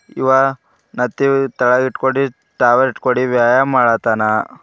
ಇವ ಮ್ಯಾತ್ತಿವ್ ತೆಳಗಿಟ್ಕೊಂಡು ಟವಲ್ ಕೊಡಿ ವ್ಯಾಯಾಮ ಮಾಡಾತನ.